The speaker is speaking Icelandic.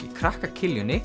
í krakka